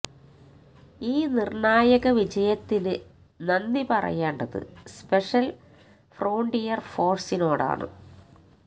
ഈ നിർണായക വിജയത്തിന് നന്ദി പറയേണ്ടത് സ്പെഷ്യൽ ഫ്രോണ്ടിയർ ഫോഴ്സിനോടാണ്